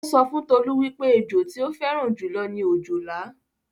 Ó sọ fún Tolú wípé ẹjọ tí ó fẹ́ràn jù lọ ni òjòlá